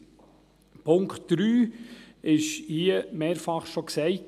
Der Punkt 3 wurde hier mehrfach schon genannt;